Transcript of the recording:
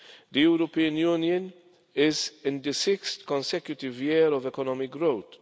The European Union is in the sixth consecutive year of economic growth.